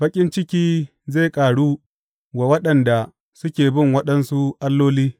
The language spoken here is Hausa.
Baƙin ciki zai ƙaru wa waɗanda suke bin waɗansu alloli.